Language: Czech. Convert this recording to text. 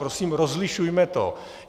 Prosím, rozlišujme to.